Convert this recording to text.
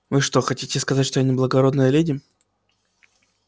вы что хотите сказать что я не благородная леди